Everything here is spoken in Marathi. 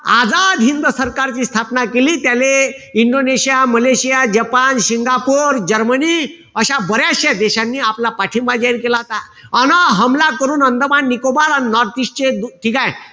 आझाद हिंद सरकारची स्थापना केली. त्याले Indonesia, Malaysia, Japan, Singapore, Germany अशा बऱ्याचश्या देशांनी आपला पाठिंबा जाहीर केला होता. अन हमला करून अंदमान-निकोबार आणि north-east चे ठीकेय?